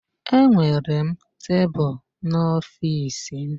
Enwere m tebụl n'ọfịs m